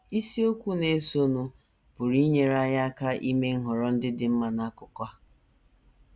Isiokwu na - esonụ pụrụ inyere anyị aka ime nhọrọ ndị dị mma n’akụkụ a..